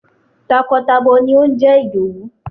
Takọ tabo ni ó ń jẹ́ Ìdòwú.